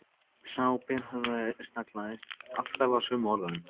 Sá berhöfðaði staglaðist alltaf á sömu orðunum